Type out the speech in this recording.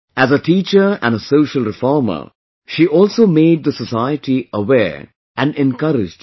As a teacher and a social reformer, she also made the society aware and encouraged it